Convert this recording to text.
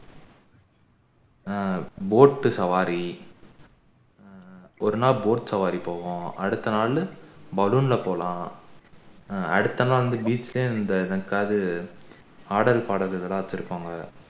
ஆஹ் boat சவாரி ஹம் ஒரு நாள் boat சவாரி போவோம் அடுத்த நாள் பலூன் ல போகலாம் அடுத்த நாள் வந்து beach லயே வந்து இது ஆடல் பாடல் இதெல்லாம் வச்சிருப்பாங்க